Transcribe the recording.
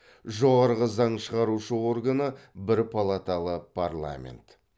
жоғарғы заң шығарушы органы бір палаталы парламент